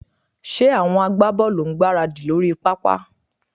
Ṣé àwọn agbábọ́ọ̀lù ń gbáradì lórí pápá?